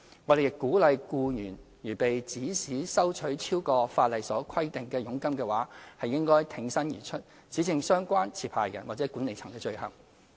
我們亦鼓勵僱員如被指使收取超過法例所規定的佣金的話，應挺身而出，指證相關持牌人或管理層的罪行。